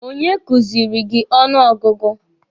Onye kuziri gị ọnụ ọgụgụ?